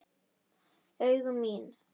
Augu mín.